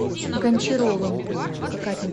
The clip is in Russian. гончаровым